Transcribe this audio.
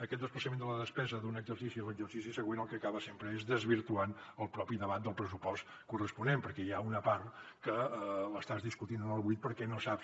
aquest desplaçament de la despesa d’un exercici a l’exercici següent el que acaba sempre és desvirtuant el propi debat del pressupost corresponent perquè hi ha una part que l’estàs discutint en el buit perquè no saps